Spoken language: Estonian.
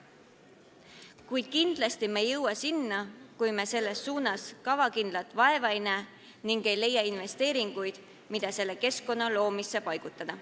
Kuid kindlasti ei jõua me nende hulka, kui me selles suunas kavakindlalt vaeva ei näe ega leia investeeringuid, mida selle keskkonna loomisesse paigutada.